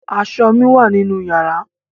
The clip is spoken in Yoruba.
Aṣọ mi wà nínú yàrá.